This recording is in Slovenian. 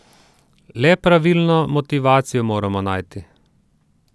Le pravilno motivacijo moramo najti.